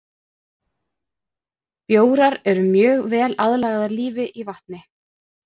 Bjórar erum mjög vel aðlagaðir lífi í vatni.